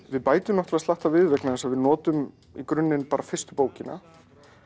við bætum náttúrulega slatta við vegna þess að við notum í grunninn bara fyrstu bókina